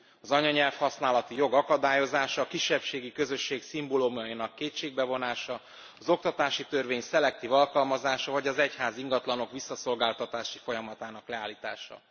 Az anyanyelv használati jog akadályozása, a kisebbségi közösség szimbólumainak kétségbe vonása, az oktatási törvény szelektív alkalmazása vagy az egyházi ingatlanok visszaszolgátatási folyamatának leállítása.